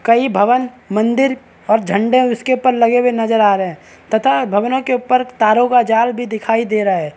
कई भवन मंदिर और झंडे उसके ऊपर लगे हुए नजर आ रहे है तथा भवनों के ऊपर तारों का जाल भी दिखाई दे रहा है।